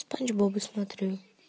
спанч боба смотрю